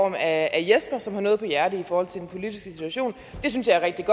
af jesper som har noget på hjerte i forhold til den politiske situation det synes jeg er rigtig